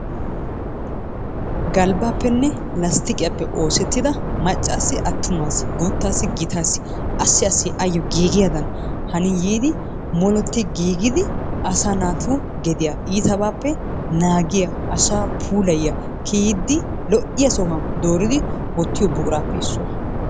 Galbaappene lasttiqiyaappe oosettida macaassinne atumaassi guutaassi gitaasi assi assi ayo giigiyaadan hanin yiidi muruti giigidi asaa naatu gediya iitabaappe naagiya asaa puulayiya kiyiidi lo'iya sohuwan dooridi wottiyo buquraappe issuwa.